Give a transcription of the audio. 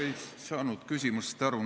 Ma ei saanud küsimusest aru.